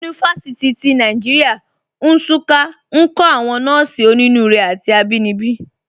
Yunifasiti ti Nàìjíríà, Nsụ́ká, nkọ̀ àwọn nọ́ọ̀sí ọ̀nínúurè àti àbínibí.